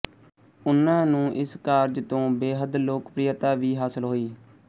ਉਨ੍ਹਾਂ ਨੂੰ ਇਸ ਕਾਰਜ ਤੋਂ ਬੇਹੱਦ ਲੋਕਪ੍ਰਿਅਤਾ ਵੀ ਹਾਸਲ ਹੋਈ